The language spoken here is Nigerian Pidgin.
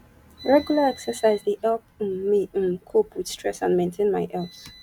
regular exercise dey help um me um cope with stress and maintain my health